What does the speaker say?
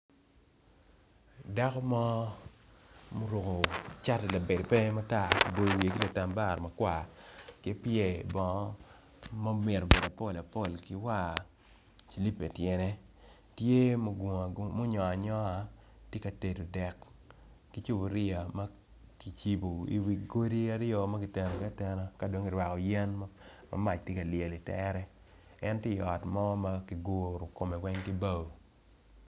Dako mo ma oruko cati labade pe matar oboyo wiye ki latambara makwar kipyer bongo ma myero obed apol apol kiwar cilipa ityene tye ma onywongo anywonga tye ka tedo dek ki cupuria ma kicibo i wi godi aryo magiteno gi atena kadong kirwako yen mamac tye ka lyel i tere en tye i ot mo makiguro kome weng ki bao.